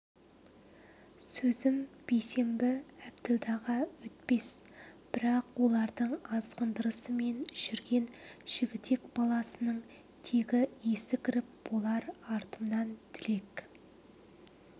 сөзім бейсенбі әбділдаға өтпес бірақ олардың азғырындысымен жүрген жігітек баласының тегі есі кіріп болар артыма тілек